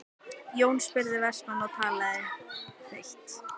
spurði Jón Vestmann og talaði hvellt.